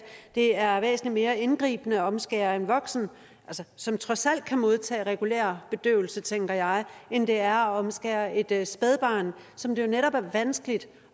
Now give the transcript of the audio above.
det er væsentlig mere indgribende at omskære en voksen som trods alt kan modtage regulær bedøvelse tænker jeg end det er at omskære et spædbarn som det jo netop er vanskeligt